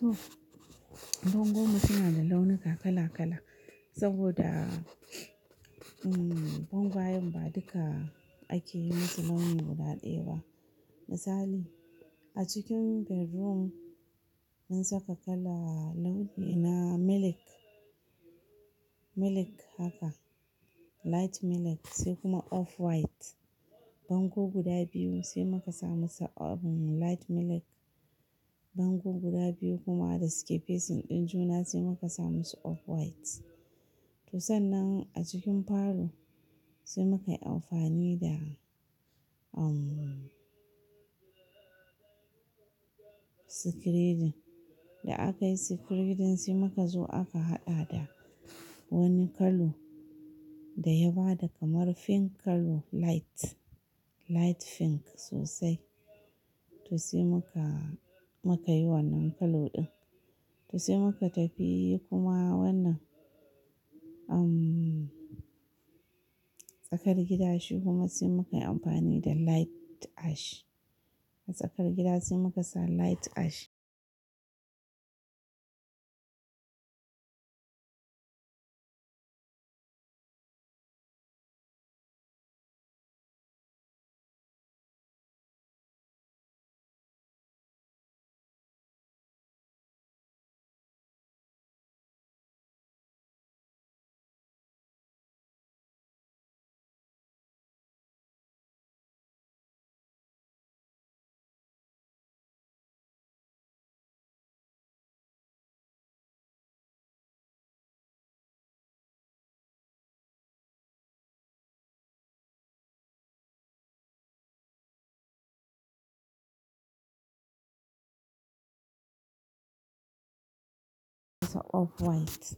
To, bangon mu suna da launuka kala kala. Saboda, bangyawan ba duka ake yin su launi guda ɗaya ba. Misali, a cikin bedroom mun saka kala launi na milk, milk haka light milk sai kuma off white. Bango guda biyu sai muka sa musu light milk. Bango guda biyu kuma da suke facing ɗin juna sai muka sa musu off white. To sannan a cikin parlour sai muka yi amfani da, sikiredin. Da aka yi sikiredin sai muka zo aka haɗa da wani kalo da ya ba da kamar pink kalo light, light pink sosai. To sai muka, muka yi wannan kalo ɗin. To sai muka tafi kuma wannan, um, tsakar gida shi kuma sai muka yi amfani da light ash. A tsakar gida sai muka sa light ash. Off white.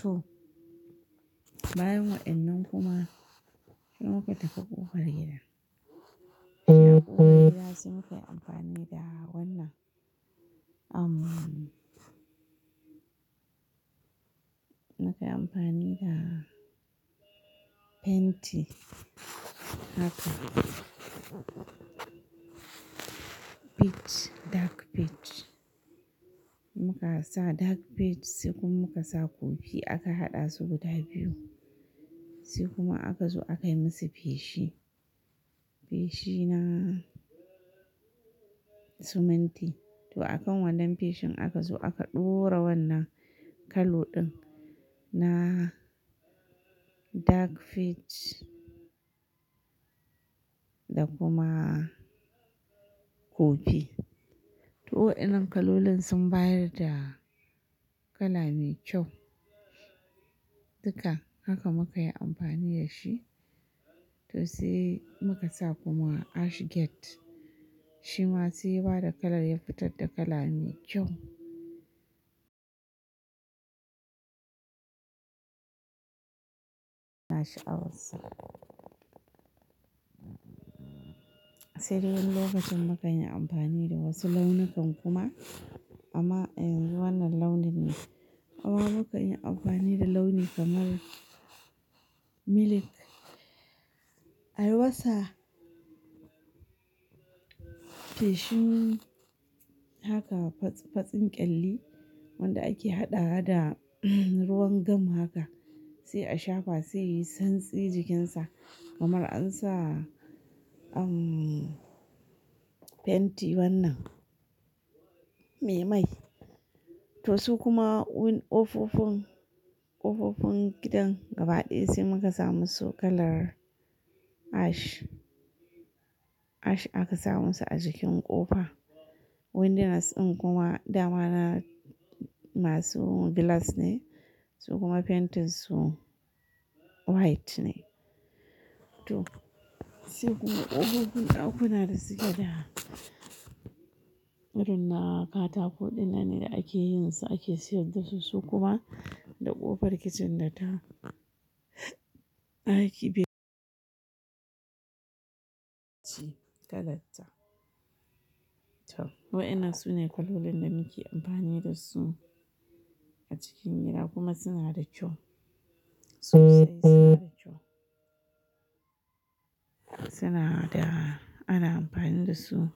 To, bayan wa'yannan kuma, sai muka tafi kuka gida. Sai muka yi amfani da wannan, um, muka yi amfani da fenti haka. Peach, dark peach. Muka sa dark peach sai kuma muka sa kofi aka haɗa su guda biyu. Sai kuma aka zo aka yi musu feshi. Feshi na siminti. To a kan wannan feshin aka zo aka ɗora wannan kallo ɗin na dark peach da kuma kofi. To waɗannan kalolin sun bayar da kala mai kyau. Duka haka muka yi amfani da shi. To sai muka sa kuma ash gate. Shi ma sai ya ba da kalar ya fitar da kala mai kyau. A sha'awar sa sai dai wani lokacin muka yi amfani da wasu launukan kuma. Amma yanzu wannan launin ne. Amma muka yi amfani da launi kamar milk. A yi masa feshi haka, fatsin kyalli wanda ake haɗawa da ruwan gam haka. Sai a shafa sai yayi santsi jikinsa. Kamar an sa, fenti wannan me mai. To su kuma win ƙofofin, ƙofofin gidan gaba ɗaya sai muka sa musu kalar ash. Ash aka sa musu a jikin ƙofa. Windows ɗin kuma dama na masu glass ne. Su kuma paintin su white ne. To, sai kuma ƙofofin ɗakuna da suke da, irin na katako ɗin nan ne da ake yin su ake siyar da su, su kuma da ƙofar kicin da ta, ɗaki bi. Kalarta. To, waɗannan su ne kalolin da muke amfani da su a cikin gida kuma suna da kyau. Sosai suna da kyau. Suna da, ana amfani da su.